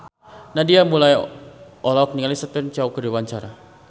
Nadia Mulya olohok ningali Stephen Chow keur diwawancara